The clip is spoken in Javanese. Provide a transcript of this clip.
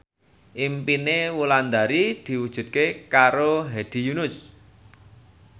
impine Wulandari diwujudke karo Hedi Yunus